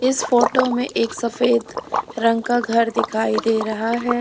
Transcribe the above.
इस फोटो में एक सफेद रंग का घर दिखाई दे रहा है।